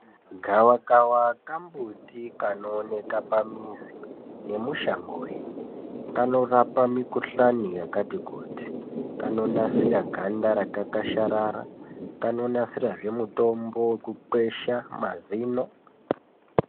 Gavakava kambuti kanoonekwa pamizi nemushangoyo kanorapa mikuhlani yakati ,kuti kanonasira ganda rakakwasharara kanonasirazve mutombo wekukwesha mazino .